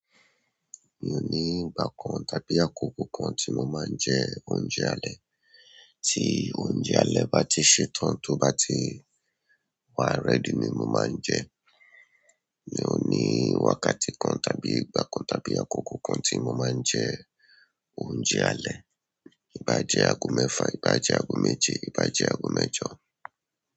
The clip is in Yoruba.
Mi ò ní ìgbà kan tàbí àkókò kan tí mo máa ń jẹ oúnjẹ alẹ́. Tí oúnjẹ alẹ́ bá ti ṣetán, tó bá ti wà ready ni mo máa ń jẹ. Mi ò ní wákàtí kan tàbí ìgbà kan tàbí àkókò kan tí mo máa ń jẹ oúnjẹ alẹ́. Ìbá jẹ ago mẹ́fà, ìbá jẹ ago méje, ìbá jẹ ago mẹ́jọ.